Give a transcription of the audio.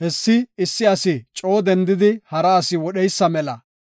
Hessi issi asi coo dendidi hara asi wodheysa mela.